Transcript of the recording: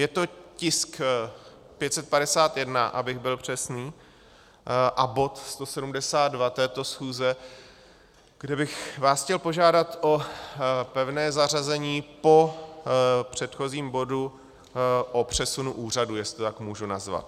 Je to tisk 551, abych byl přesný, a bod 172 této schůze, kde bych vás chtěl požádat o pevné zařazení po předchozím bodu o přesunu úřadů, jestli to tak můžu nazvat.